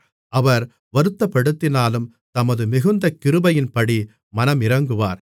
அவர் வருத்தப்படுத்தினாலும் தமது மிகுந்த கிருபையின்படி மனமிரங்குவார்